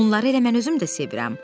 Onları elə mən özüm də sevirəm.